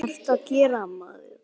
Það held ég að.